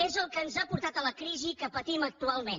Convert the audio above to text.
és el que ens ha portat a la crisi que patim actualment